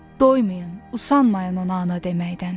Doymayın, usanmayın ona ana deməkdən.